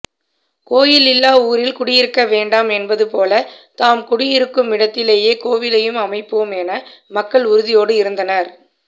கோயிலில்லா ஊரில் குடியிருக்க வேண்டாம் என்பதுபோல தாம் குடியிருக்குமிடத்திலேயே கோயிலையும் அமைப்போம் என மக்கள் உறுதியோடு இருந்தனர்